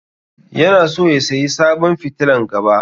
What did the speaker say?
Yana so ya sayi sabon fitilan gaba.